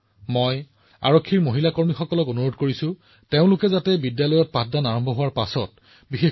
মোৰ মৰমৰ দেশবাসীসকল মন কী বাতৰ শ্ৰোতাই প্ৰায়ে মোক আমাৰ দেশত দ্ৰুত গতিত বৃদ্ধি হোৱা আধুনিক প্ৰযুক্তিৰ দ্ৰুত ব্যৱহাৰৰ বিষয়ে সোধে